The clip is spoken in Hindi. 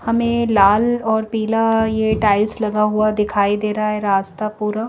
हमें लाल और पीला ये टाइल्स लगा हुआ दिखाई दे रहा है रास्ता पूरा--